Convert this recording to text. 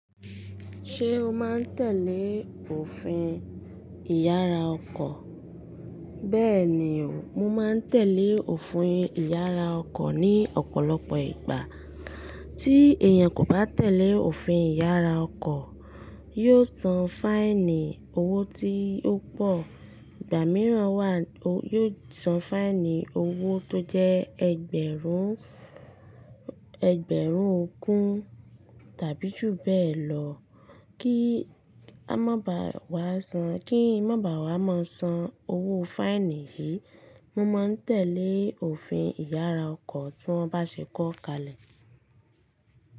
Ṣé o máa ń tẹ̀lé òfin ìyára ọkọ̀? Bẹ́ẹ̀ni o, mo máa ń tẹ̀lé òfin ìyára ọkọ̀ ní ọ̀pọ̀lọpọ̀ ìgbà. Tí èèyàn kò bá tẹ̀lé òfin ìyára ọkọ̀, yóò san fáínì owó tí ó pọ̀. Ìgbà mìíràn wà, yóò san fáínì owó tó jẹ́ ẹgbẹ̀rún, ẹgbẹ̀rún ogún tàbí jù bẹ́ẹ̀ lọ. Kí a má ba wá san, kí n má ba wá máa san owó fáínì yìí, mo máa ń tẹ̀lé òfin ìyára ọkọ̀ tí wọ́n bá ṣe kó kalẹ̀.